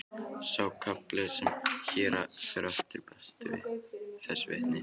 Sá kafli sem hér fer á eftir ber þessu vitni: